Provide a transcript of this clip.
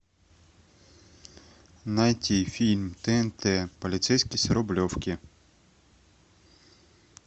найти фильм тнт полицейский с рублевки